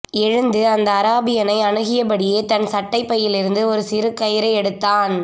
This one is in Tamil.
எழுந்து அந்த அராபியனை அணுகியபடியே தன் சட்டைப் பையிலிருந்து ஒரு சிறு கயிரை எடுத்தான்